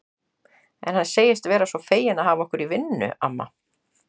En hann segist vera svo feginn að hafa okkur í vinnu, amma